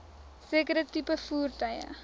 sekere tipe voertuie